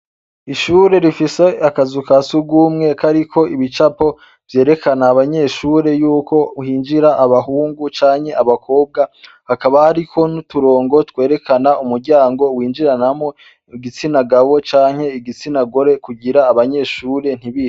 Ishure rifise akazu kasugumwe kariko ibicapo vyerekana abanyeshure yuko hinjira abahungu canke abakobwa, hakaba hariko n'uturongo twerekana umuryango winjiranamwo igitsina gabo canke igitsina gore kugira abanyeshure ntibihende.